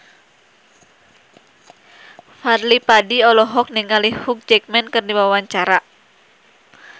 Fadly Padi olohok ningali Hugh Jackman keur diwawancara